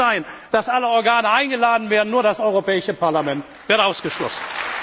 Es kann nicht sein, dass alle Organe eingeladen werden, nur das Europäische Parlament wird ausgeschlossen.